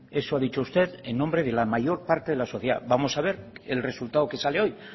eso ha dicho usted en nombre de la mayor parte de la sociedad vamos a ver el resultado que sale hoy